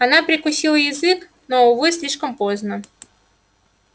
она прикусила язык но увы слишком поздно